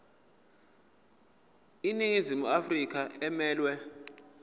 iningizimu afrika emelwe